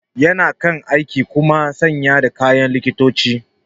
Yana kan aiki kuma sanye da kayan likitoci.